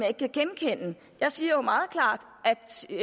ikke kan genkende jeg siger jo meget klart